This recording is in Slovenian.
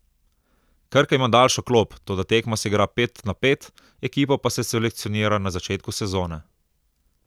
Krka ima daljšo klop, toda tekma se igra pet na pet, ekipo pa se selekcionira na začetku sezone.